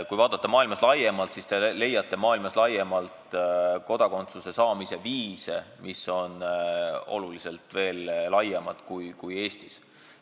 Kui vaadata maailmas laiemalt, siis te leiate kodakondsuse saamise võimalusi, mis on oluliselt laiemad kui Eestis.